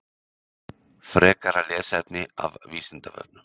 Frekara lesefni af Vísindavefnum: